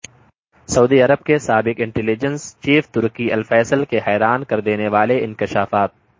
سعودی عرب کے سابق intelligence chief Turki al Faisal کے حیران کردینے والے انکشافات